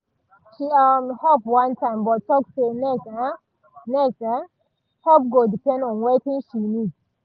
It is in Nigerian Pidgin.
she um help one time but talk say next um next um help go depend on wetin she need